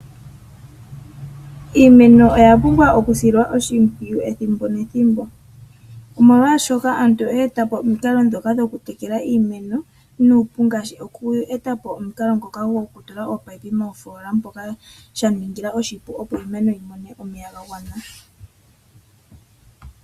Iimeno oya pumbwa okusilwa oshimpwuyu ethimbo nethimbo. Omolwaashoka aantu oya etapo omikalo dhoka dhokutekela iimeno nuupu, ngaashi oku etapo omukalo ngoka gokutula ominino mofoola moka, shaningila oshipu opo iimeno yimone omeya gagwana.